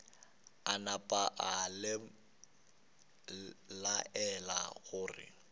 a napa a laela gore